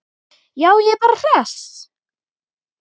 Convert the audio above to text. Já, ég er bara hress.